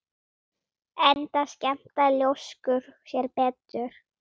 Enda skemmta ljóskur sér betur.